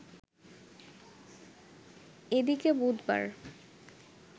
এদিকে বুধবার